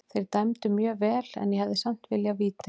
Þeir dæmdu mjög vel en ég hefði samt viljað víti.